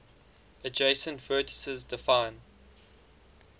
adjacent vertices define